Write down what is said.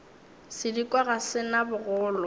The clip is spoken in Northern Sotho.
sedikwa ga se na bogolo